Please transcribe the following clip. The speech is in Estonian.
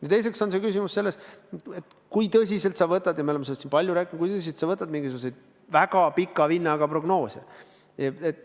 Ja teiseks on küsimus selles, kui tõsiselt sa võtad – me oleme sellest palju rääkinud – mingisuguseid väga pika vinnaga prognoose.